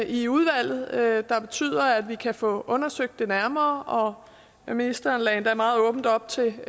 i udvalget der betyder at vi kan få undersøgt nærmere og ministeren lagde endda meget åbent op til